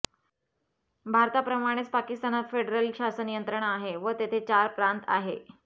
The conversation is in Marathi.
भारताप्रमाणेच पाकिस्तानात फेडरल शासन यंत्रणा आहे व तेथे चार प्रांत आहे